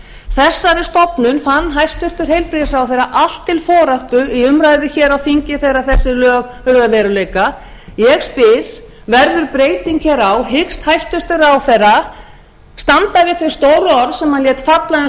þessari stofnun fann hæstvirtur heilbrigðisráðherra allt til foráttu í umræðu hér á þingi þegar þau lög urðu að veruleika ég spyr verður breyting hér á hyggst hæstvirtur ráðherra standa við þau stóru orð sem hann lét falla um